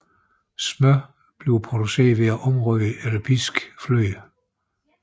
Smør bliver produceret ved at omrøre eller piske fløde